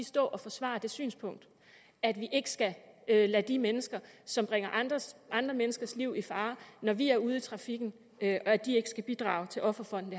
stå og forsvare det synspunkt at vi ikke skal lade de mennesker som bringer andre menneskers liv i fare når de er ude i trafikken bidrage til offerfonden